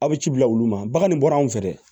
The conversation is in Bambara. Aw bɛ ci bila olu ma bagan de bɔra anw fɛ dɛ